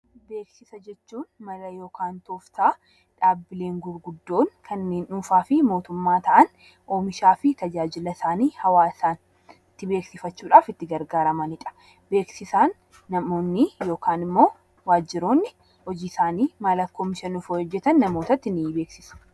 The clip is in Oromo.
Beeksisa jechuun mala yookaan tooftaa dhaabbilee gurguddoon kanneen dhuunfaa fi mootummaa ta'an oomishaa fi tajaajila isaanii hawaasatti beeksifachuudhaaf itti gargaaramanidha. Beeksisaan namoonni yookaan immoo waajjiroonni hojiisaanii haala hojjetan namootatti ni beeksisu.